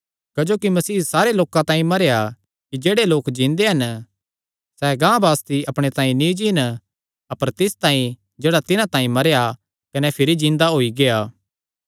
क्जोकि मसीह सारे लोकां तांई मरेया कि जेह्ड़े लोक जिन्दे हन सैह़ गांह बासती अपणे तांई नीं जीन अपर तिस तांई जेह्ड़ा तिन्हां तांई मरेया कने भिरी जिन्दा होई गेआ